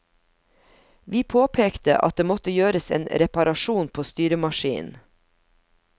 Vi påpekte at det måtte gjøres en reparasjon på styremaskinen.